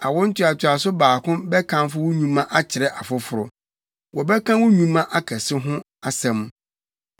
Awo ntoatoaso baako bɛkamfo wo nnwuma akyerɛ afoforo; wɔbɛka wo nnwuma akɛse ho asɛm.